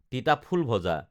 তিতাফুল ভজা